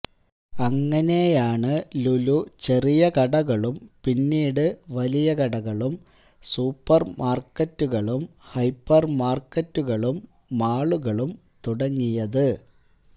അങ്ങിനെയാണു ലുലു ചെറിയ കടകളും പിന്നീടു വലിയ കടകളും സൂപ്പർമാർക്കറ്റുകളും ഹൈപ്പർമാർക്കറ്റുകളും മാളുകളും തുടങ്ങിയത്